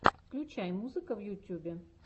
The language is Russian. включай музыка в ютьюбе